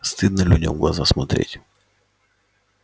стыдно людям в глаза смотреть